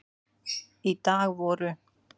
Í dag voru